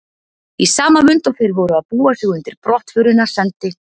Í sama mund og þeir voru að búa sig undir brottförina sendi